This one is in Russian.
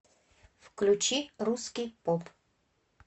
включи русский поп